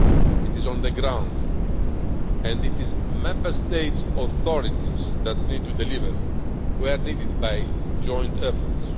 It is on the ground, and it is Member States' authorities that need to deliver, where needed by joint efforts.